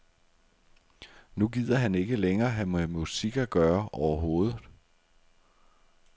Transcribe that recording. Nu gider han ikke længere have med musik at gøre overhovedet.